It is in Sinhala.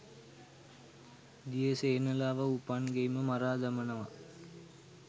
දියසෙනලාව උපන් ගෙයිම මරා දමනවා